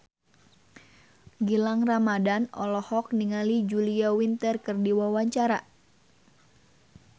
Gilang Ramadan olohok ningali Julia Winter keur diwawancara